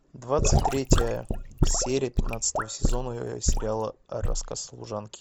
двадцать третья серия пятнадцатого сезона сериала рассказ служанки